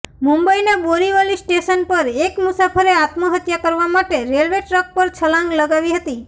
મુંબઈના બોરીવલી સ્ટેશન પર એક મુસાફરે આત્મહત્યા કરવા માટે રેલવે ટ્રેક પર છલાંગ લગાવી હતી